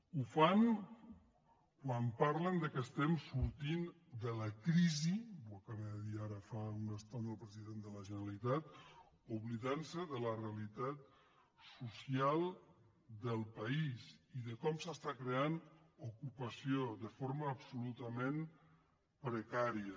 ho fan quan parlen que estem sortint de la crisi ho acaba de dir ara fa una esto na el president de la generalitat oblidant se de la realitat social del país i de com s’està creant ocupació de forma absolutament precària